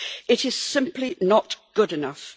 It is simply not good enough.